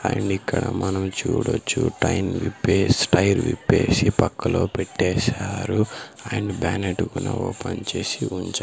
and ఇక్కడ మనం చూడొచ్చు టైం విప్పేస్ టైర్ విప్పేసి పక్కలో పెట్టేశారు అండ్ బానెట్ గునా ఓపెన్ చేసి ఉంచా --